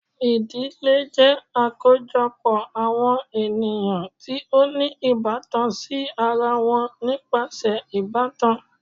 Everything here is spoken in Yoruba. Idile jẹ akojọpọ awọn eniyan ti o ni ibatan si ara wọn nipasẹ ibatan